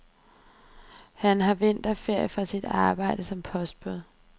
Han har vinterferie fra sit arbejde som postbud.